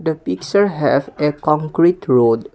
the picture have a concrete road.